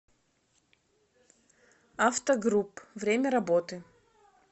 автогрупп время работы